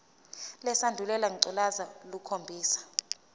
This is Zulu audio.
lesandulela ngculazi lukhombisa